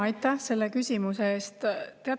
Aitäh selle küsimuse eest!